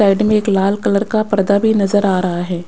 Side में एक लाल कलर का पर्दा भी नजर आ रहा है।